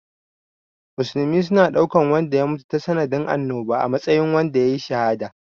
Musulmi suna ɗaukan wanda ya mutu tasa nadin annoba a matsayin wanda yayi shahada.